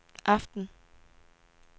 aften